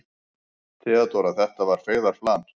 THEODÓRA: Þetta var feigðarflan.